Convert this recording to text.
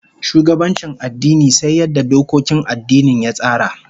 Shugabancin addini sai yadda dokokin addinin ya tsara